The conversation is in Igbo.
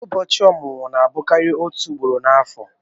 Ụbọchị ọmụmụ na-abụkarị òtù ugboro n'afọ.